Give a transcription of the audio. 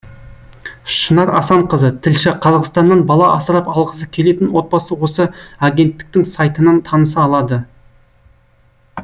шынар асанқызы тілші қазақстаннан бала асырап алғысы келетін отбасы осы агенттіктің сайтынан таныса алады